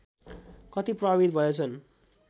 कति प्रभावित भएछन्